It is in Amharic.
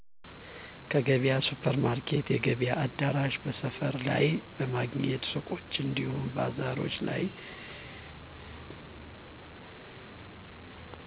ከገበያ ሱፕርማርኬት የገበያ አዳራሽ በሰፈር ላይ በማግኘት ሱቆች እንዲሁም ባዛርች ላይ